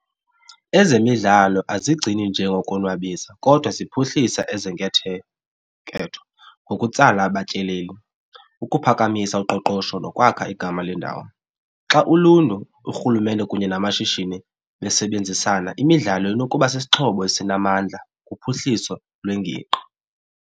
Ezemidlalo azigcini nje ngokonwabisa kodwa ziphuhlisa ngokutsala abatyaleli, ukuphakamisa uqoqosho nokwakha igama lendawo. Xa uluntu, uRhulumente kunye namashishini besebenzisana imidlalo inokuba sisixhobo esinamandla kuphuhliso lwengingqi.